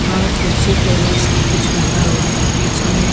और कुर्सी टेबल सब कुछ लगा हुआ है बीच में।